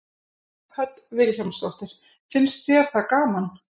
Hödd Vilhjálmsdóttir: Finnst þér það gaman?